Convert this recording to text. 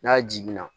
N'a jiginna